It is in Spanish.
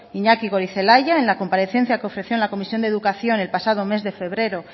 iñaki goirizelaia en la comparecencia que ofreció en la comisión de educación el pasado mes de febrero